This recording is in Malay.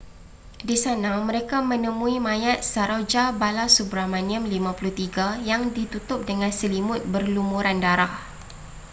di sana mereka menemui mayat saroja balasubramanian 53 yang ditutup dengan selimut berlumuran darah